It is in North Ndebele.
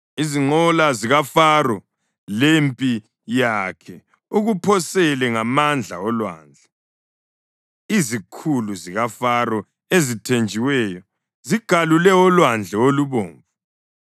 Izinqola zikaFaro lempi yakhe ukuphosele ngamandla olwandle. Izikhulu zikaFaro ezithenjiweyo, zigalule oLwandle oluBomvu.